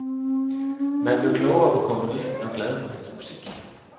Man blev klogere på komponisten og glad for hans musik.